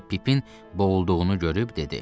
Sonra Pipin boğulduğunu görüb dedi.